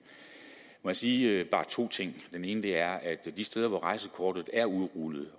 må jeg sige bare to ting den ene er at de steder hvor rejsekortet er udrullet